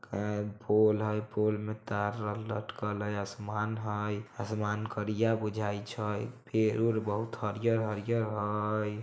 फूल है फूल में तार-आर लटकल है। आसमान है आसमान करिया बुझाई छै। पेड़-उर बहुत हरियर-हरियर हय ।